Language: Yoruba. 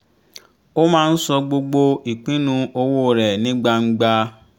ó máa ń sọ gbogbo ìpinnu owó rẹ̀ ní gbangba